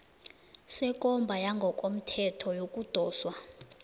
sekomba yangokomthetho yokudoswa